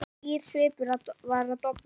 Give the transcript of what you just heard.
Hlýr svipur var að dofna.